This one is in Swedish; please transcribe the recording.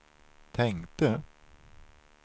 tänkte